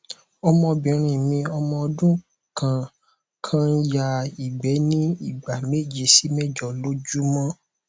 ọmọbìnrin mi ọmọ ọdún kan kan ń ya igbe ní ìgbà méje sí mẹjọ lójúmọ́